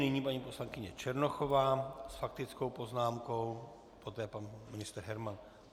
Nyní paní poslankyně Černochová s faktickou poznámkou, poté pan ministr Herman.